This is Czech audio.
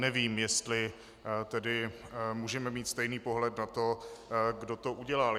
Nevím, jestli tedy můžeme mít stejný pohled na to, kdo to udělal.